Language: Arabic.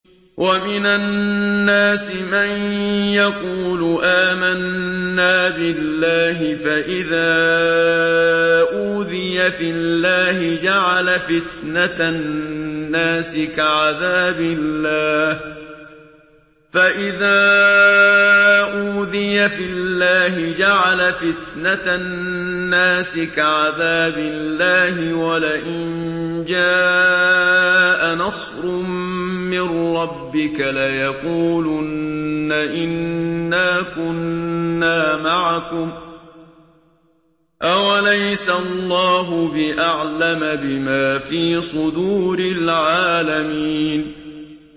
وَمِنَ النَّاسِ مَن يَقُولُ آمَنَّا بِاللَّهِ فَإِذَا أُوذِيَ فِي اللَّهِ جَعَلَ فِتْنَةَ النَّاسِ كَعَذَابِ اللَّهِ وَلَئِن جَاءَ نَصْرٌ مِّن رَّبِّكَ لَيَقُولُنَّ إِنَّا كُنَّا مَعَكُمْ ۚ أَوَلَيْسَ اللَّهُ بِأَعْلَمَ بِمَا فِي صُدُورِ الْعَالَمِينَ